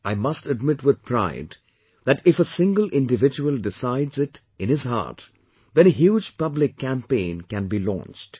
I must admit with pride that if a single individual decides it in his heart then a huge Public campaign can be launched